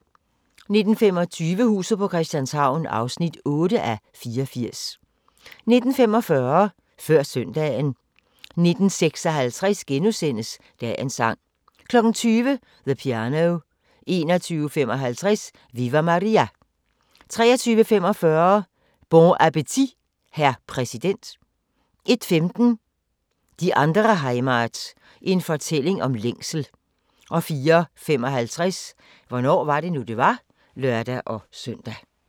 19:25: Huset på Christianshavn (8:84) 19:45: Før søndagen 19:56: Dagens sang * 20:00: The Piano 21:55: Viva Maria! 23:45: Bon appétit hr. præsident 01:15: Die andere Heimat – en fortælling om længsel 04:55: Hvornår var det nu, det var? (lør-søn)